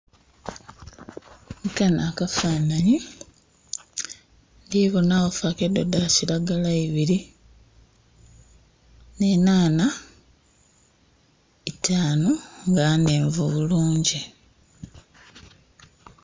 Kanho akafanhanyi ndibonagho fakedo da kiragala ibiri n'enhanha itanhu nga nhenvu bulungi